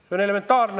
See on elementaarne.